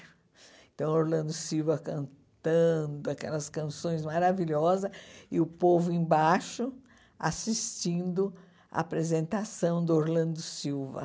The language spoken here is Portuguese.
Então, Orlando Silva cantando aquelas canções maravilhosas e o povo embaixo assistindo à apresentação do Orlando Silva.